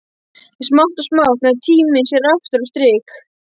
En smátt og smátt náði tíminn sér aftur á strik.